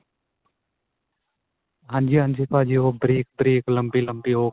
ਹਾਂਜੀ ਹਾਂਜੀ ਭਾਜੀ ਉਹ ਬਰੀਕ ਬਰੀਕ ਲੰਬੀ ਲੰਬੀ ਉਹ